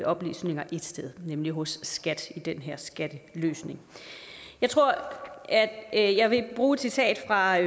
oplysninger ét sted nemlig hos skat ved den her skatteløsning jeg tror at jeg vil bruge et citat fra